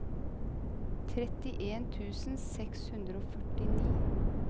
trettien tusen seks hundre og førtini